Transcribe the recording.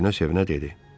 O sevinə-sevinə dedi.